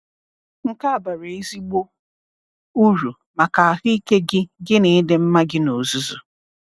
Nke a bara ezigbo uru maka ahụike gị gị na ịdị mma gị n’ozuzu.